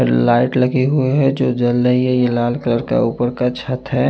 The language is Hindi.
लाइट लगे हुए हैं जो जल रही है ये लाल कलर का ऊपर का छत है।